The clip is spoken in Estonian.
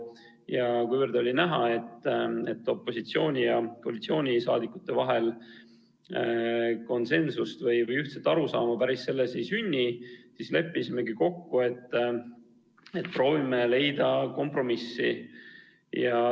Ja kuna oli näha, et opositsiooni- ja koalitsioonisaadikute vahel konsensust või ühtset arusaama ei sünni, siis leppisime kokku, et proovime leida kompromissi.